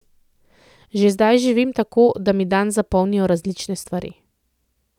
Že zdaj živim tako, da mi dan zapolnijo različne stvari.